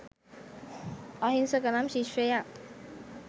අහිංසක නම් ශිෂ්‍යයා